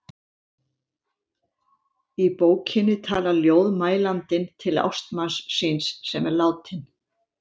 Í bókinni talar ljóðmælandinn til ástmanns síns sem er látinn.